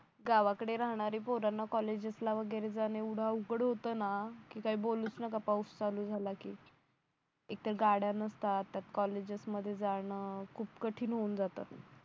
गावाकडे राहणारे पोरांना कॉलेजेस ला वगैरे जाणं एवढं अवघड होतं ना कि काही बोलूच नका पाऊस चालू झाला की एक तर गाड्या नसतात त्यात कॉलेजेस मध्ये जाणं खूप कठीण होऊन जाते